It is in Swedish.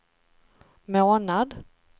månad